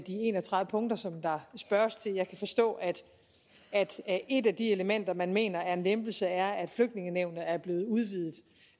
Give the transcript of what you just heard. en og tredive punkter som der spørges til jeg kan forstå at et af de elementer man mener er en lempelse er at flygtningenævnet er blevet udvidet